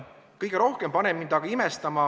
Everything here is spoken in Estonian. Kolm minutit lisaaega.